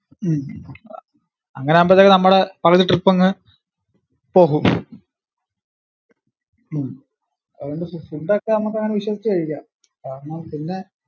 ഉം അങ്ങനെ ആവൂമ്പോഴത്തേക്കു നമ്മടെ പകുതി trip അങ്ങ് പോകും. ഉം അതുകൊണ്ടു food ഒക്കെ നമുക്കു അങ്ങിനെ വിശ്വസിച്ചു കഴിക്കാം. കാരണം പിന്നെ